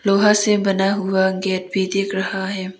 लोहा से बना हुआ गेट भी दिख रहा है।